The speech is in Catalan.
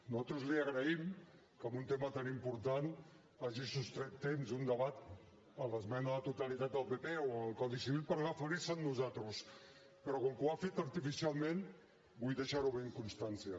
nosaltres li agraïm que en un tema tan important hagi sostret temps d’un debat a l’esmena a la totalitat del pp o al codi civil per referirse a nosaltres però com que ho ha fet artificialment vull deixarne constància